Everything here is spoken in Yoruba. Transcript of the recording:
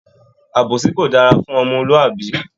Àbòsí kò dára fún omolúàbí